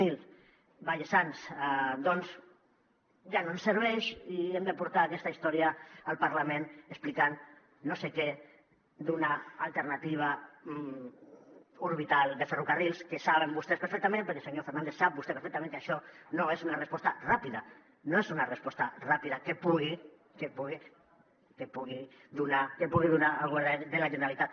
zero vallesans doncs ja no ens serveix i hem de portar aquesta història al parlament explicant no sé què d’una alternativa orbital de ferrocarrils que saben vostès perfectament perquè senyor fernàndez ho sap vostè perfectament que això no és una resposta ràpida no és una resposta ràpida que pugui donar el govern de la generalitat